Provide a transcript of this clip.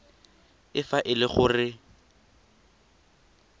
e fa e le gore